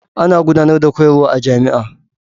Ana gudanar da koyarwa a jami'a.